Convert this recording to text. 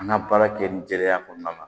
An ka baara kɛ nin jɛlenya kɔnɔna na